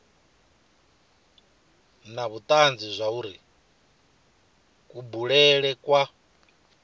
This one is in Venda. na vhutanzi zwauri kubulele kwa